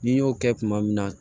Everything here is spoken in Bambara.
Ni n y'o kɛ tuma min na